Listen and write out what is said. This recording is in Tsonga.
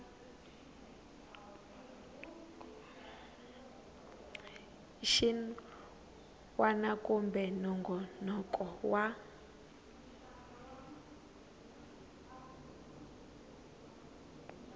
xin wana kumbe nongonoko wa